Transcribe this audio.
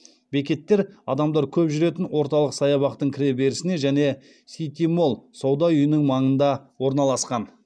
бекеттер адамдар көп жүретін орталық саябақтың кіре берісіне және сити молл сауда үйінің маңында орналасқан